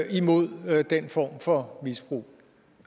imod den form for misbrug